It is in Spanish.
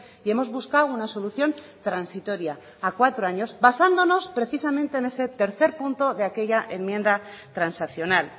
y hemos buscado una solución transitoria a cuatro años basándonos precisamente en ese tercer punto de aquello enmienda transaccional